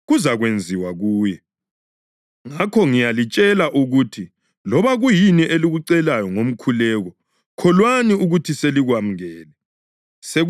Ngakho ngiyalitshela ukuthi loba kuyini elikucelayo ngomkhuleko, kholwani ukuthi selikwamukele, sekuzakuba ngokwenu.